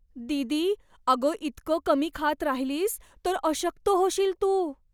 दीदी, अगं इतकं कमी खात राहिलीस तर अशक्त होशील तू.